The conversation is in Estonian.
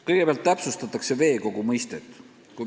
Kõigepealt täpsustatakse veekogu mõistet.